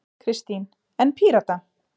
Kristín: En Pírata?